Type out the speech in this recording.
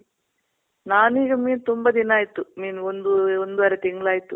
ನಾನೀಗ ಮೀನ್ ತುಂಬ ದಿನ ಆಯ್ತು. ಮೀನ್ ಒಂದು ಒಂದುವರೆ ತಿಂಗಳ್ ಆಯ್ತು